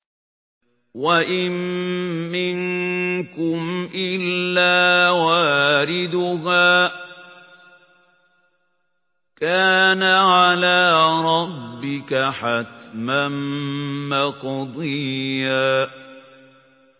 وَإِن مِّنكُمْ إِلَّا وَارِدُهَا ۚ كَانَ عَلَىٰ رَبِّكَ حَتْمًا مَّقْضِيًّا